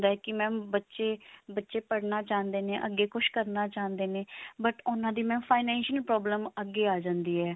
ਹੁੰਦਾ ਹੈ ਕਿ mam ਬੱਚੇ ਬੱਚੇ ਪੜਨਾ ਚਾਹੁੰਦੇ ਨੇ ਅੱਗੇ ਕੁਛ ਕਰਨਾ ਚਾਹੁੰਦੇ ਨੇ but ਉਹਨਾਂ ਦੀ mam financial problem ਅੱਗੇ ਆ ਜਾਂਦੀ ਹੈ